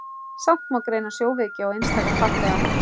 Samt má greina sjóveiki á einstaka farþega.